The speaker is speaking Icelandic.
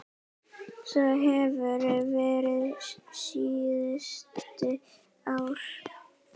Svo hefur verið síðustu ár.